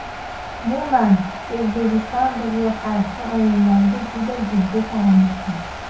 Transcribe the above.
Umuman, O‘zbekiston bizga qarshi o‘yinlarga juda jiddiy qaramoqda.